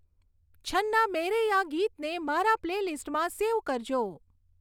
છન્ના મેરૈયા ગીતને મારા પ્લે લીસ્ટમાં સેવ કરજો